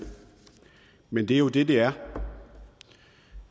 men det er jo det det er